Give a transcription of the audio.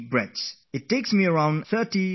I breathe deeply three to five times